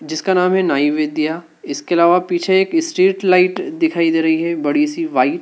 जिसका नाम है नाई विद्या। इसके अलावा पीछे एक स्ट्रीट लाइट दिखाई दे रही है बड़ी सी व्हाइट ।